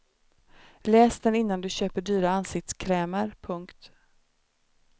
Läs den innan du köper dyra ansiktskrämer. punkt